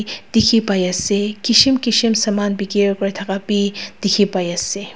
dikhipaiase kishim kishim saman bikiri kurithaka be dikhipaiase.